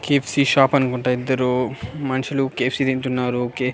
KFC shop అనుకుంటా ఇద్దరు మన్షులు కె_యఫ్_సి తింటున్నారు కె --